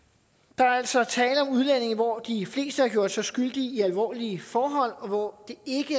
der er altså tale om udlændinge hvor de fleste har gjort sig skyldige i alvorlige forhold og hvor det